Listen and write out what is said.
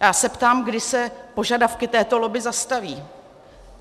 A já se ptám, kdy se požadavky této lobby zastaví.